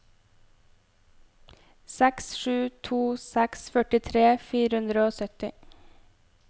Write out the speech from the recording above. seks sju to seks førtitre fire hundre og sytti